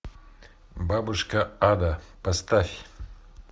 бабушка ада поставь